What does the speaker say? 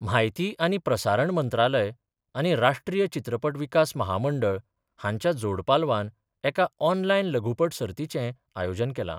म्हायती आनी प्रसारण मंत्रालय आनी राष्ट्रीय चित्रपट विकास महामंडळ हांच्या जोड पालवान एका ऑनलायन लघुपट सर्तीचें आयोजन केलां.